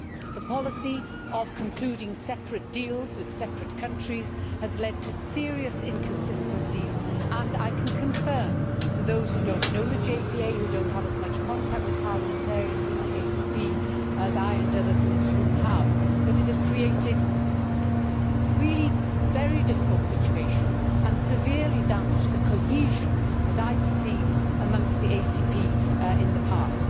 The policy of concluding separate deals with separate countries has led to serious inconsistencies, and I can confirm to those who do not know the Joint Parliamentary Assembly and who do not have as much contact with parliamentarians in the ACP as I and others in this room have, that it has created really very difficult situations and severely damaged the cohesion that I perceived amongst the ACP in the past.